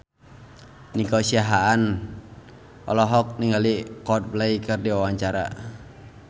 Nico Siahaan olohok ningali Coldplay keur diwawancara